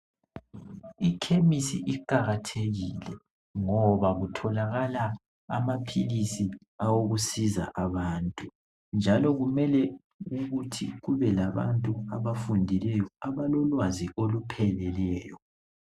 Ikhemisi iqalathekile ngoba kutholakala amaphilisi awokusiza abantu njalo kumele ukuthi kube labantu abafundileyo abalolwazi olupheleleyo